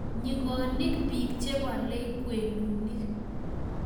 nyikonik biik chebolei ng'wenonik